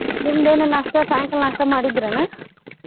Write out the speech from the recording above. ನಿಮ್ದ ಏನ ನಾಷ್ಟಾ ಸಾಯಂಕಾಲ ನಾಷ್ಟಾ ಮಾಡಿದ್ರಿ ಏನ?